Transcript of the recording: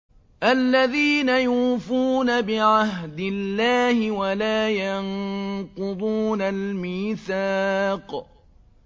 الَّذِينَ يُوفُونَ بِعَهْدِ اللَّهِ وَلَا يَنقُضُونَ الْمِيثَاقَ